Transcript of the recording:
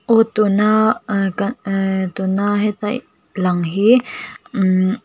aw tuna ahh e ka ahh tuna heta lang hi imm--